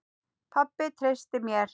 Pabbi treysti mér.